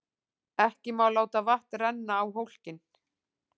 Ekki má láta vatn renna á hólkinn.